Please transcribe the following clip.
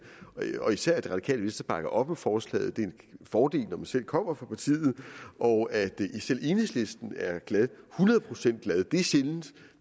og især at det radikale venstre bakker op om forslaget det er en fordel når man selv kommer fra partiet og at selv enhedslisten er hundrede procent glad er sjældent